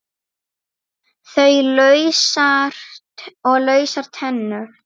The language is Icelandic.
Og lausar tennur!